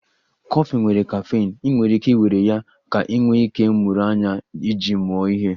Kọfị nwere caffeine, ị nwere ike iwere ya ka ị nwee ike ịmụrụ anya iji mụọ ihe